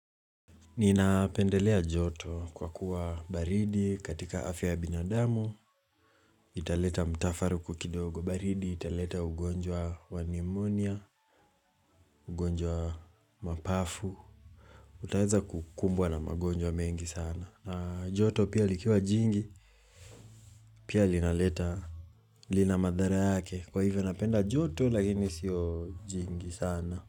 Ninapendelea joto kwa kuwa baridi katika afya ya binadamu italeta mtafaruku kidogo baridi italeta ugonjwa wa nimonia, ugonjwa wa mapafu Utaeza kukumbwa na magonjwa mengi sana na joto pia likiwa jingi, pia linaleta lina madhara yake Kwa hivyo napenda joto lakini sio jingi sana.